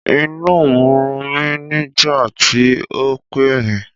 Inú n run mí nígbàtí o n pẹ́ mi